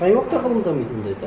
қай уақытта ғылым дамиды ондайда